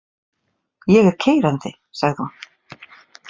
Ég er keyrandi, sagði hún.